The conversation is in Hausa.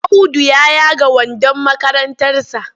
Audu ya yaga wandon makarantarsa.